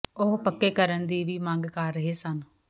ਉਹ ਪੱਕੇ ਕਰਨ ਦੀ ਵੀ ਮੰਗ ਕਰ ਰਹੇ ਸਨ